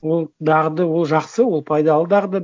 ол дағды ол жақсы ол пайдалы дағды